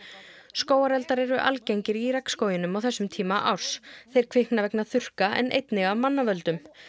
skógareldar eru algengir í regnskóginum á þessum tíma árs þeir kvikna vegna þurrka en einnig af mannavöldum